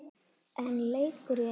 Einn leikur í einu.